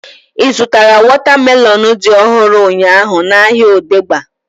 I zụtara wọta melọnu dị ọhụrụ ụnyaahụ n'ahia Odegba?